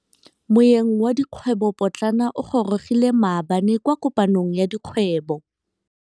Moêng wa dikgwêbô pôtlana o gorogile maabane kwa kopanong ya dikgwêbô.